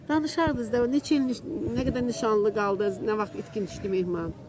Danışardınız da, neçə il, nə qədər nişanlı qaldız, nə vaxt itkin düşdü Mehman?